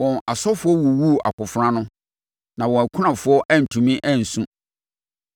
Wɔn asɔfoɔ wuwuu akofena ano, na wɔn akunafoɔ antumi ansu.